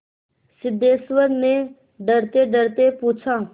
सिद्धेश्वर ने डरतेडरते पूछा